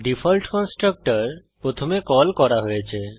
default constructor প্রথমে call করা হয়েছে